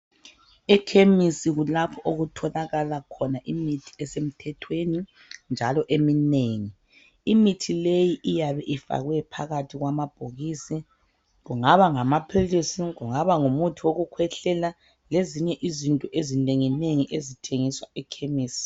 Ekhemisi kulapho okutholakala khona imithi esemthethweni njalo eminengi. Imithi leyi iyabe ifakwe phakathi kwamabhokisi. Kungaba ngamaphilisi, kungaba ngumuthi wokukhwehlela lezinye izinto ezinengi nengi ezithengiswa ekhemisi.